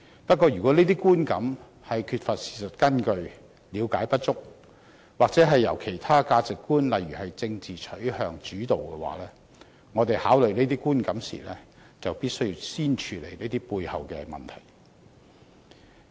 不過，如果這些觀感的形成，是因為缺乏事實根據、了解不足，又或受到其他價值觀主導，例如政治取向，我們考慮這些觀感時，便必須先處理這些背後的問題。